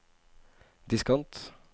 diskant